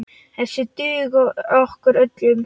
Þessir duga okkur öllum.